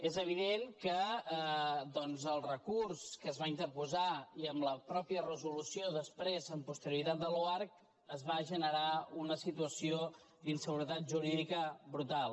és evident que doncs el recurs que es va interposar i amb la mateixa resolució després amb posterioritat de l’oarcc es va generar una situació d’inseguretat jurídica brutal